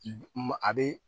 Ma a bɛ